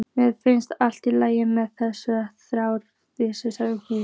Mér finnst allt í lagi með þessa þætti, segir hún.